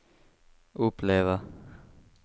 uppleva